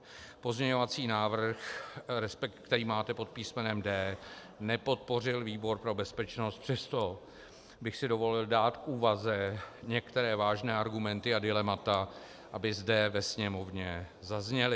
Pozměňovací návrh, který máte pod písmenem D, nepodpořil výbor pro bezpečnost, přesto bych si dovolil dát k úvaze některé vážné argumenty a dilemata, aby zde ve Sněmovně zazněly.